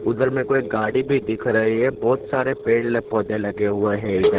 उधर में कोई गाड़ी भी दिख रही है बहोत सारे पेड़ पौधे लगे हुए हैं इधर--